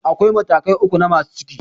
Da akwai matakai uku na masu ciki